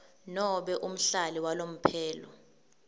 nobe umhlali walomphelo